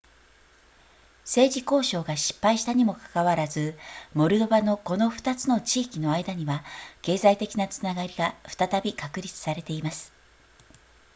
政治交渉が失敗したにもかかわらずモルドバのこの2つの地域の間には経済的なつながりが再び確立されています